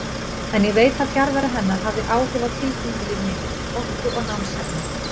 En ég veit að fjarvera hennar hafði áhrif á tilfinningalíf mitt, orku og námshæfni.